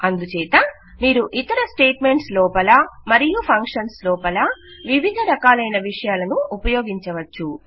అందుచేత మీరు ఇతర స్టేట్ మెంట్స్ లోపల మరియు ఫంక్షన్స్ లోపల వివిధ రకాలయిన విషయాలను ఉపయోగించవచ్చు